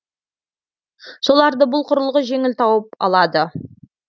соларды бұл құрылғы жеңіл тауып алады